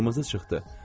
Qırmızı çıxdı.